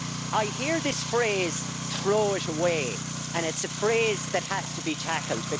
I hear this phrase throw it away', and it's a phrase that has to be tackled.